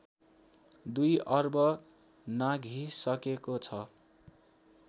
दुई अर्ब नाघिसकेको छ